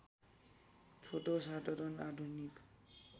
छोटो साधारण आधुनिक